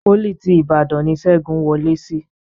Pólì ti Ìbàdàn ni Ṣẹ́gun wọ lé sí